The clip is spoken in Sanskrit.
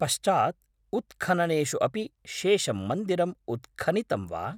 पश्चात् उत्खननेषु अपि शेषं मन्दिरम् उत्खनितम् वा?